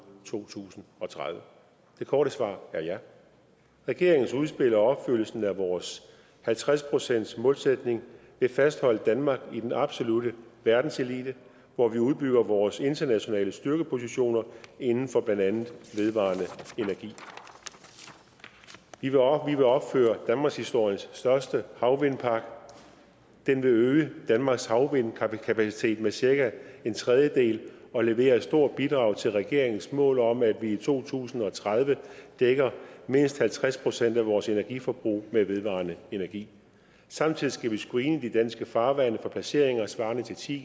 to tusind og tredive det korte svar er ja regeringens udspil og opfyldelsen af vores halvtreds procentsmålsætning vil fastholde danmark i den absolutte verdenselite hvor vi udbygger vores internationale styrkepositioner inden for blandt andet vedvarende energi vi vil opføre danmarkshistoriens største havvindpark den vil øge danmarks havvindkapacitet med cirka en tredjedel og levere et stort bidrag til regeringens mål om at vi i to tusind og tredive dækker mindst halvtreds procent af vores energiforbrug med vedvarende energi samtidig skal vi screene de danske farvande for placeringer svarende til ti